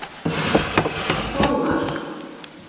Hróðmar